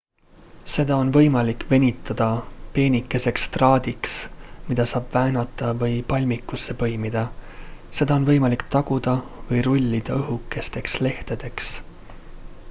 seda on võimalik venitada peenikeseks traadiks mida saab väänata või palmikusse põimida seda on võimalik taguda või rullida õhukesteks lehtedeks